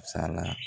Sala